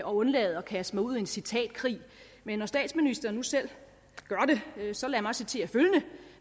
og undlade at kaste mig ud i en citatkrig men når statsministeren nu selv gør det så lad mig citere følgende